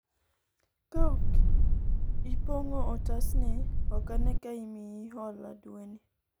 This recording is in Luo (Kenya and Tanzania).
kaok ipong'o otas ni ,ok ane ka imiyi hola dwe ni